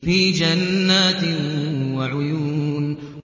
فِي جَنَّاتٍ وَعُيُونٍ